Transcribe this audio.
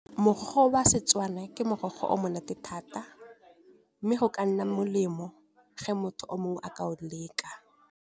Mogwa o wa Setswana ke morogo o monate thata mme go ka nna molemo ge motho o mongwe a ka o leka.